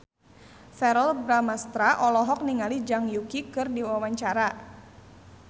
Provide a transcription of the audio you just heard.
Verrell Bramastra olohok ningali Zhang Yuqi keur diwawancara